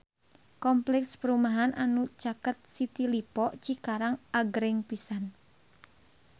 Kompleks perumahan anu caket City Lippo Cikarang agreng pisan